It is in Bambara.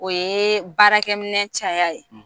O ye baarakɛminɛn caya ye.